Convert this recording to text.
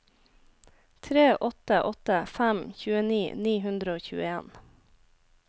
tre åtte åtte fem tjueni ni hundre og tjueen